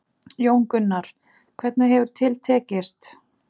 Jón Gunnar, hvernig hefur til tekist?